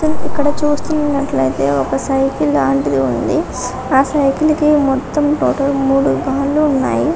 ఇక్కడ చూస్తున్నట్లయితే ఒక సైకిల్ లాంటిది ఉంది ఆ సైకిల్ కి మొత్తం మూడు ఉన్నాయి